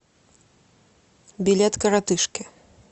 билет коротышки